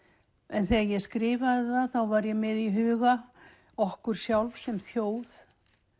en þegar ég skrifaði það var ég með í huga okkur sjálf sem þjóð